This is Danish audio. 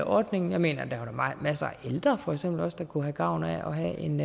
ordningen jeg mener der er masser af ældre der for eksempel også kunne have gavn af at have en